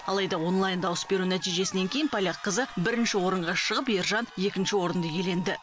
алайда онлайн дауыс беру нәтижесінен кейін поляк қызы бірінші орынға шығып ержан екінші орынды иеленді